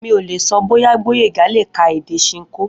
Mi ò lè so̩ bóyá Gbóyèga lè ka èdè s̩inkó